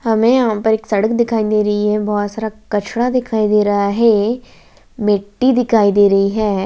हमें यहाँ पर एक सड़क दिखाई दे रही है बहुत सारा कचरा दिखाई दे रहा है मिट्टी दिखाई दे रही है।